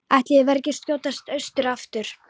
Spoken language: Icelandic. Ætli ég verði ekki að skjótast austur aftur.